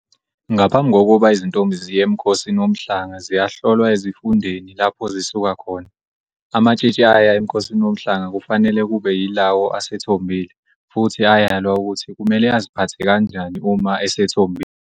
Ngaphambi kokuba izintombi ziye eMkhosini Womhlanga ziyahlolwa ezifundeni lapho zisuka khona. Amatshitshi aya eMkhosini Womhlanga kufanele kube yilawo asethombile futhi ayalwa ukuthi kumele aziphathe kanjani uma esethombile.